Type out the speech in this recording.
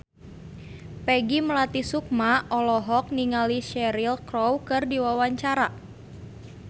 Peggy Melati Sukma olohok ningali Cheryl Crow keur diwawancara